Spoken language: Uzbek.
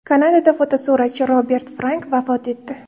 Kanadada fotosuratchi Robert Frank vafot etdi .